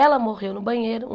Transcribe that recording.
Ela morreu no banheiro.